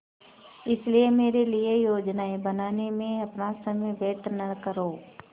इसलिए मेरे लिए योजनाएँ बनाने में अपना समय व्यर्थ न करो